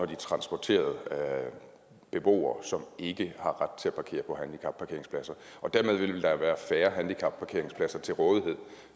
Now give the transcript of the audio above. de transporterede beboere som ikke har ret til at parkere på handicapparkeringspladser og dermed ville der være færre handicapparkeringspladser til rådighed